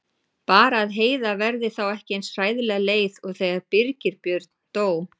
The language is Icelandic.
Bara að Heiða verði þá ekki eins hræðilega leið og þegar Birgir Björn dó.